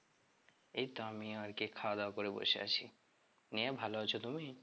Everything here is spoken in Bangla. এই তো আমিও আর কি খাওয়া দাওয়া করে বসে আছি, নিয়ে ভালো আছো তুমি?